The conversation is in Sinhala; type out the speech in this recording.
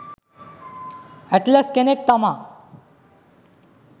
ඇට්ලස් කෙනෙක් තමා.